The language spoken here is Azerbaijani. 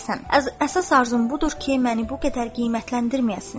Əsas arzum budur ki, məni bu qədər qiymətləndirməyəsiniz.